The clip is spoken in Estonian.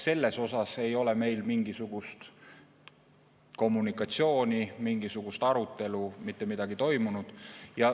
Selles osas ei ole meil mingisugust kommunikatsiooni, mingisugust arutelu, mitte midagi toimunud.